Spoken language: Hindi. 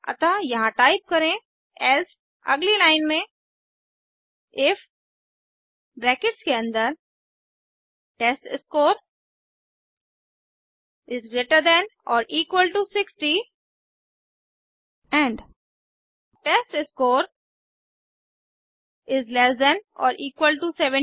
अतः यहाँ टाइप करें एल्से अगली लाइन इफ ब्रैकेट्स के अन्दर टेस्टस्कोर इज़ ग्रेटर देन और equal to 60 and test score is less than और इक्वल टू 70